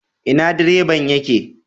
Ina direban yake